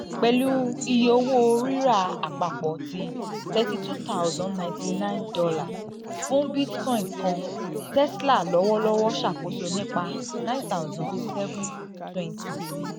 pẹlu iye owo rira apapọ ti $ thirty two thousand ninety nine fun bitcoin kan tesla lọwọlọwọ ṣakoso nipa nine thousand seven hundred twenty